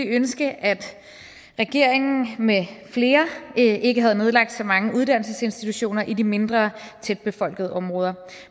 ønsket at regeringen med flere ikke havde nedlagt så mange uddannelsesinstitutioner i de mindre tætbefolkede områder